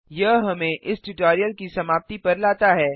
यह हमें इस ट्यूटोरियल की समाप्ति पर लाता है